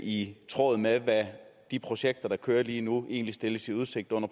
i tråd med hvad de projekter der kører lige nu egentlig stilles i udsigt under